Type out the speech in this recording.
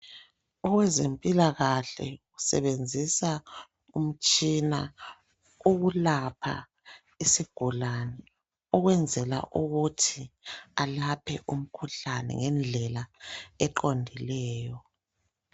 Owezempilakahle usebenzisa umtshina ukulapha isigulane ukwenzela ukuthi alaphe umkhuhlane ngendlela eqondileyo.